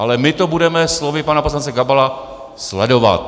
Ale my to budeme slovy pana poslance Gabala sledovat!